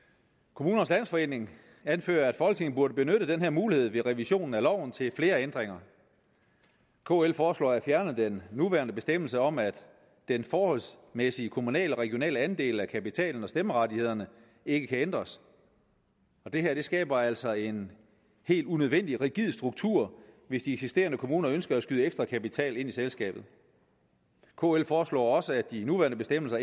kommunernes landsforening anfører at folketinget burde benytte den her mulighed ved revisionen af loven til flere ændringer kl foreslår at fjerne den nuværende bestemmelse om at den forholdsmæssige kommunale og regionale andel af kapitalen og stemmerettighederne ikke kan ændres det her skaber altså en helt unødvendig rigid struktur hvis de eksisterende kommuner ønsker at skyde ekstra kapital ind i selskabet kf foreslår også at de nuværende bestemmelser